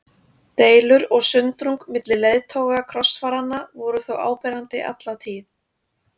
Deilur og sundrung milli leiðtoga krossfaranna voru þó áberandi alla tíð.